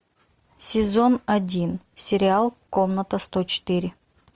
сезон один сериал комната сто четыре